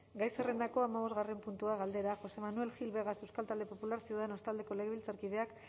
gai zerrendako hamabosgarren puntua galdera josé manuel gil vegas euskal talde popularra ciudadanos taldeko legebiltzarkideak